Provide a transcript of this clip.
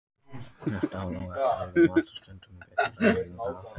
Þetta á þó ekki við um allt og stundum er byggt á raunverulegum aðferðum.